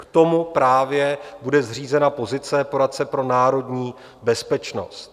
K tomu právě bude zřízena pozice poradce pro národní bezpečnost.